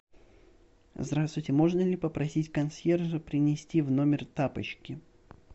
здравствуйте можно ли попросить консьержа принести в номер тапочки